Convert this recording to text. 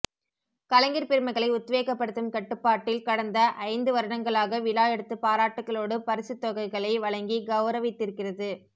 கலைஞர் பெருமக்களை உத்வேகப்படுத்தும் கடப்பாட்டில் கடந்த ஐந்து வருடங்களாக விழா எடுத்து பாராட்டுக்களோடு பரிசத்தொகைகள் வழங்கி கௌரவித்திருக்கிறது